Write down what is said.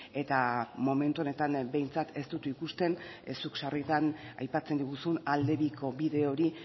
eta momentu honetan behintzat ez dut ikusten zuk sarritan aipatzen diguzun alde biko bide hori